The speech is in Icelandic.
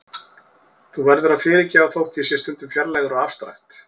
Þú verður að fyrirgefa þótt ég sé stundum fjarlægur og afstrakt.